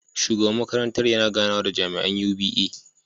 Shugaban makarantar yana ganawa da jami’an UBE.